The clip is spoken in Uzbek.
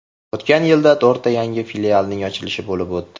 O‘tgan yilda to‘rtta yangi filialning ochilishi bo‘lib o‘tdi.